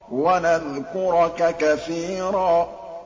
وَنَذْكُرَكَ كَثِيرًا